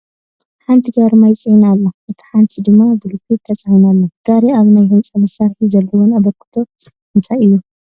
ሓንቲ ጋሪ ማይ ተፃዒና ኣላ፡፡ እታ ሓንቲ ድማ ብሎኬት ተፃዒና ኣላ፡፡ ጋሪ ኣብ ናይ ህንፃ ስራሕቲ ዘለወን ኣበርክቶ እንታይ እዩ?